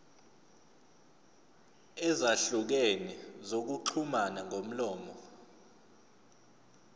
ezahlukene zokuxhumana ngomlomo